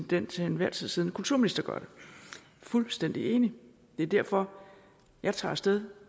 den til enhver tid siddende kulturminister gør det fuldstændig enig det er derfor jeg tager af sted